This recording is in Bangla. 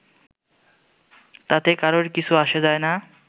তাতে কারোরই কিছু এসে যায় না